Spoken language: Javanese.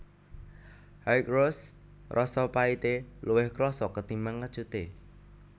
High Roast rasa pahité luwih krasa ketimbang kecuté